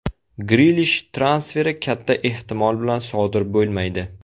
Grilish transferi katta ehtimol bilan sodir bo‘lmaydi.